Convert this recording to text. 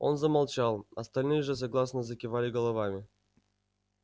он замолчал остальные же согласно закивали головами